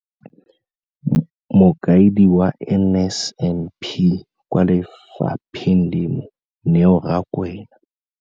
Mokaedi wa NSNP kwa lefapheng leno, Neo Rakwena.